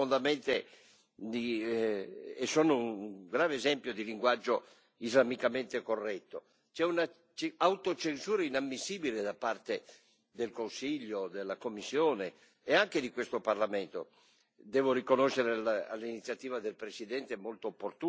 Questi documenti e tutta questa discussione risentono profondamente e sono un grave esempio di linguaggio islamicamente corretto. C'è un'autocensura inammissibile da parte del Consiglio, della Commissione e anche di questo Parlamento.